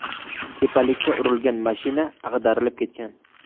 Tepalikka urilgan mashina ag‘darilib ketgan.